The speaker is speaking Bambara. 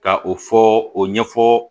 Ka o fɔ o ɲɛfɔ